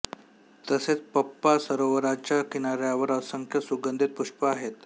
तसेच पंपा सरोवराच्या किनाऱ्यावर असंख्य सुगंधित पुष्प आहेत